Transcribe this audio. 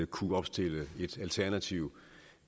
kunne opstille et alternativ